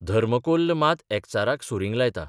धर्मकोल्ल मात एकचाराक सुरिंग लायता.